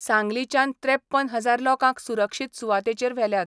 सांगलीच्यान त्रेप्पन हजार लोकांक सुरक्षीत सुवातेचेर व्हेल्यात.